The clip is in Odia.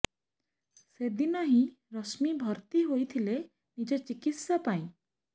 ସେଦିନ ହିଁ ରଶ୍ମୀ ଭର୍ତି ହୋଇଥିଲେ ନିଜ ଚିକିତ୍ସା ପାଇଁ